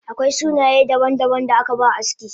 Akwai sunaye daban daban da akaba aski